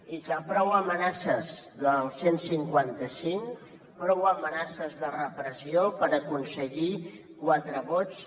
i que prou amenaces del cent i cinquanta cinc prou amenaces de repressió per aconseguir quatre vots